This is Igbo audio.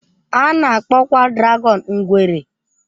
A na-akpọkwa dragọn ngwere.